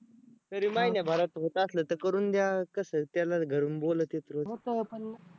तरी महिन्याभरात होत असलं तर करून द्या कसं त्याला घरून बोलवत्यात रोज